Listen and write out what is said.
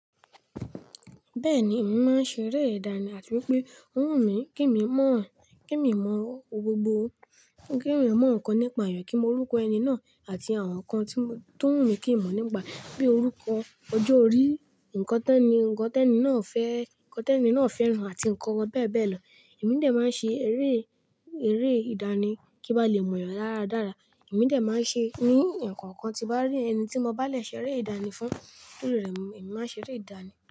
Bẹ́ẹ̀ni, èmi máa ń ṣeré ìdánì àti wípé ó wù mí kí mi mọ̀, kí mi mọ ohun gbogbo, ó ń kí mi mọ ǹkan nípa èèyàn, kí mo rí orúkọ ẹni náà àti àwọn nǹkan tí ó wù mí kí mo mọ̀ nípa bíi orúkọ ọjọ́ orí, nǹkan tẹ́ni, nǹkan tẹ́ni náà fẹ́, nǹkan tẹ́ni náà fẹ́ràn àti nǹkan bẹ́ẹ̀ bẹ́ẹ̀ lọ. Èmi dè máa ṣe eré, eré ìdánì kí n lè mọ èèyàn dáradára. Èmi dè máa ṣe é ní ǹkan kan ti bá rí ẹni tí mo bá lè ṣeré ìdánì fún, kí tori rẹ̀ èmi máa ṣeré ìdánì.